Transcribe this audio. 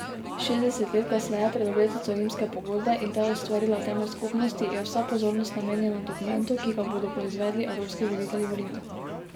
Šestdeset let kasneje, pred obletnico rimske pogodbe, in ta je ustvarila temelj skupnosti, je vsa pozornost namenjena dokumentu, ki ga bodo proizvedli evropski voditelji v Rimu.